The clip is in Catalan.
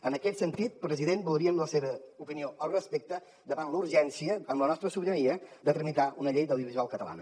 en aquest sentit president voldríem la seva opinió al respecte davant la urgència amb la nostra sobirania de tramitar una llei de l’audiovisual catalana